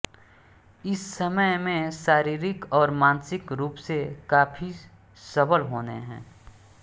इस समय में शारीरिक और मानसिक रूप से काफी सबल होने है